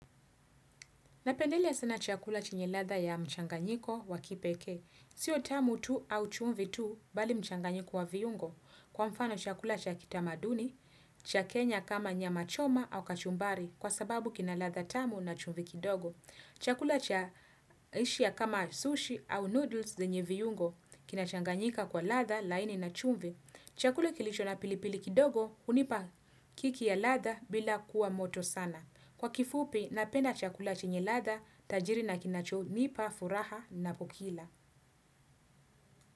Napendelea sana chakula chenye ladha ya mchanganyiko wa kipeke. Sio tamu tu au chumvi tu bali mchanganyiko wa viungo. Kwa mfano chakula cha kitamaduni, cha kenya kama nyama choma au kachumbari kwa sababu kina ladha tamu na chumvi kidogo. Chakula cha Asia kama sushi au noodles venye viungo kinachanganyika kwa ladha laini na chumvi. Chakula kilicho na pilipili kidogo hunipa kiki ya ladha bila kuwa moto sana. Kwa kifupi, napenda chakula chenye ladha, tajiri na kinachonipa, furaha napo kila.